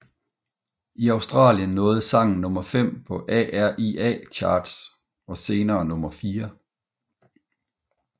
I Australien nåede sangen nummer fem på ARIA Charts og senere nummer fire